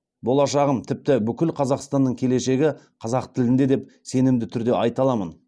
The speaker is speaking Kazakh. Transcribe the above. болашағым тіпті бүкіл қазақстанның келешегі қазақ тілінде деп сенімді түрде айта аламын